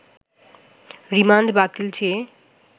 remand বাতিল চেয়ে